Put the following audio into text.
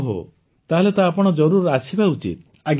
ଓହୋ ତାହେଲେ ତ ଆପଣ ଜରୁର ଆସିବା ଉଚିତ